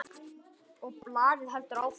Og blaðið heldur áfram